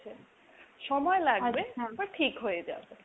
সময় লাগবে কিন্তু তো ঠিক হয়ে যাবে।